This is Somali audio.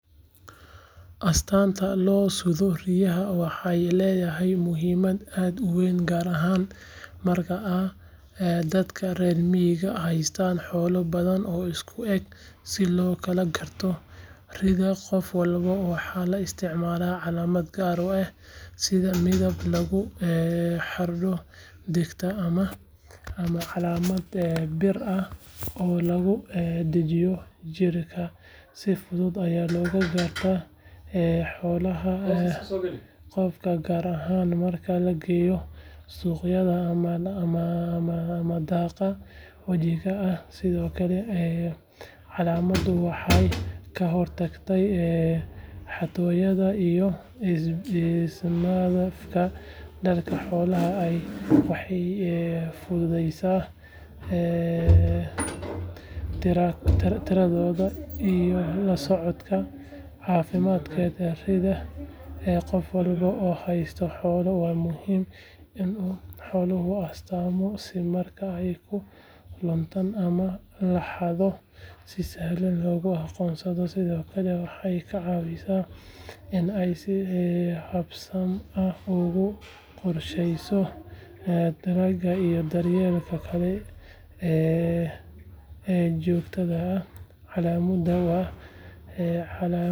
Astaanta loo sudho ri’da waxay leedahay muhiimad aad u weyn gaar ahaan marka ay dadka reer miyigu haystaan xoolo badan oo isku eg si loo kala garto ri’da qof walba waxaa la isticmaalaa calaamad gaar ah sida midab lagu xardho dhegta ama calaamad bir ah oo lagu dhejiyo jirka si fudud ayaa loogu gartaa xoolaha qofka gaar ahaan marka la geeyo suuqyada ama daaqa wadajirka ah sidoo kale calaamaddu waxay ka hortagtaa xatooyada iyo is-maandhaafka dadka xoolaha leh waxay fududaysaa tirakoobka iyo la socodka caafimaadka ri’da qof walba oo haysta xoolo waa muhiim in uu xoolihiisa astaamo si marka ay ka luntaan ama la xado si sahlan loogu aqoonsado sidoo kale waxay kaa caawisaa in aad si habsami ah ugu qorshayso talaalka iyo daryeelka kale ee joogtada ah calaamaddu.